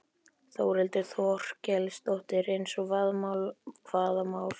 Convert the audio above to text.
Þórhildur Þorkelsdóttir: Eins og hvaða mál?